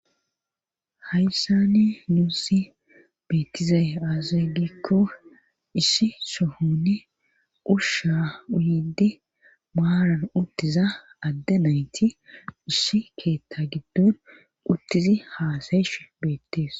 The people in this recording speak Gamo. hayssaane nuussi betizay aze gikko isi sohone usha uyidi muaran utiza adde nayti ishi keta giduu utizi haaseshe betes